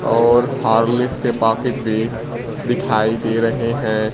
और हॉर्लिक्स के पाकिट भी दिखाई दे रहे हैं।